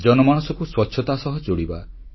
ଜନମାନସକୁ ସ୍ୱଚ୍ଛତା ସହ ଯୋଡ଼ିବା